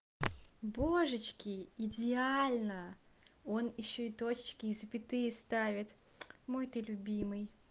божечки идеально он ещё и точечки и запятые ставит мой ты любимый